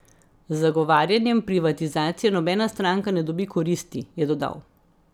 Z zagovarjanjem privatizacije nobena stranka ne dobi koristi, je dodal.